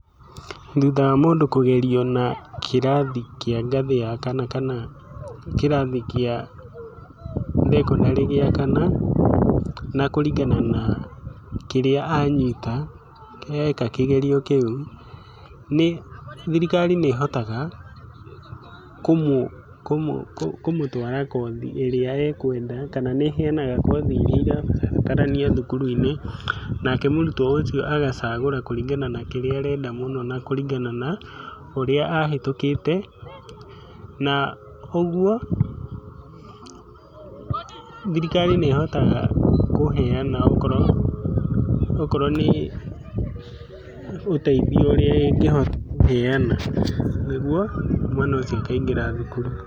Thutha wa mũndũ kũgerio na kĩrathi kĩa ngathĩ ya kana kĩrathi kĩa thekondarĩ kĩa kana na kũringana na kĩrĩa anyita, nĩ thirikari nĩĩhotaga kũmũ, kũmũ kũmũtwara kothi ĩrĩa akwenda kana nĩheanaga kothi iria irabatarania thukuru-inĩ nake mũrutwo ũcio agacagũra kũringana na kĩrĩa arenda mũno na kũringana na ũrĩa ahĩtũkĩte. Na ũguo, thikari nĩĩhotaga kũheana okorwo, okorwo nĩũteithio ũrĩa ĩngĩhota kũheana nĩguo mwana ũcio akaingĩra thukuru.